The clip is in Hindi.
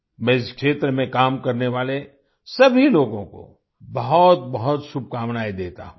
मैं इस क्षेत्र में काम करने वाले सभी लोगों को बहुतबहुत शुभकामनाएं देता हूँ